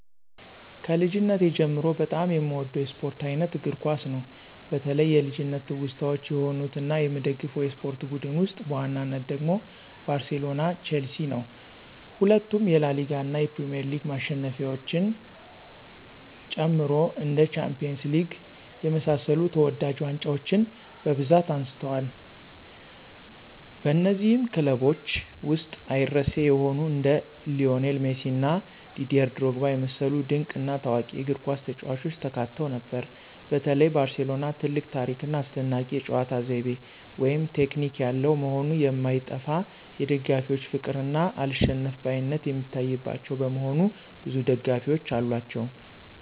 ከልጅነቴ ጀምሮ በጣም የምወደው የስፖርት አይነት እግር ኳስ ነው። በተለይ የልጅነት ትውስታዎች የሆኑት እና የምደግፈው የስፖርት ቡድን ውስጥ በዋናነት ደግሞ ባርሴሎና ቸልሲ ነው። ሁለቱም የላሊጋ እና የፕሪሚየር ሊግ ማሸነፊያዎችን ጨምሮ እንደ ሻምፒዮንስ ሊግ የመሳሰሉ ተወዳጅ ዋንጫዎችን በብዛት አንስተዋል። በነዚህም ክለቦች ውስጥ አይረሴ የሆኑ እንደ ሊዎኔል ሜሲ እና ዲዴር ድሮግባ የመሰሉ ድንቅ እና ታዋቂ የእግርኳስ ተጫዋቾች ተካተው ነበር። በተለይ ባርሴሎና ትልቅ ታሪክ ና አስደናቂ የጨዋታ ዘይቤ (ቴክኒክ) ያለው መሆኑ የማይጠፋ የደጋፊዎች ፍቅር እና አልሸነፍባይነት የሚታይባቸው በመሆኑ ብዙ ደጋፊዎች አሏቸው።